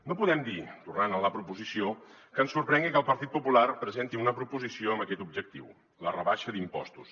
no podem dir tornant a la proposició que ens sorprengui que el partit popular presenti una proposició amb aquest objectiu la rebaixa d’impostos